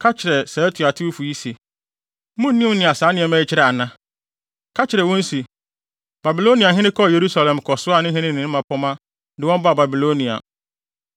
“Ka kyerɛ saa atuatewfo yi se, ‘Munnim nea saa nneɛma yi kyerɛ ana?’ Ka kyerɛ wɔn se, ‘Babiloniahene kɔɔ Yerusalem kɔsoaa ne hene ne ne mmapɔmma de wɔn baa Babilonia.